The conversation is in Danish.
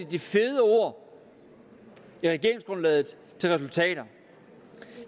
de fede ord i regeringsgrundlaget til resultater